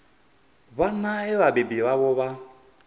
vhana vhe vhabebi vhavho vha